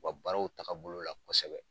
U ka baarow taga bolo la kɔsɛbɛ.